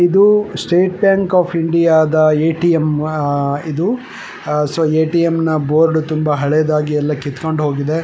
ಇದು State Bank of India ATM ಆಗಿದೆ. ATM. Board ತುಂಬಾ ಹಳೇದಾಗಿ ಕಿತ್ಕೊಂಡು ಹೋಗ್ತಾಯ್ದೆ.